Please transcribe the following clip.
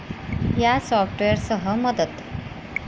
या सॉफ्टवेअरसह मदत